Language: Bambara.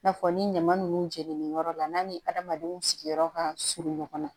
I n'a fɔ ni ɲama ninnu jeninen yɔrɔ la n'a ni adamadenw sigiyɔrɔ ka surun ɲɔgɔn na